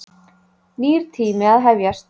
Nýr tími að hefjast.